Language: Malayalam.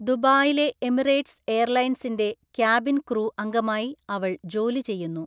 ദുബായിലെ എമിറേറ്റ്‌സ് എയർലൈൻസിന്റെ ക്യാബിൻ ക്രൂ അംഗമായി അവൾ ജോലി ചെയ്യുന്നു.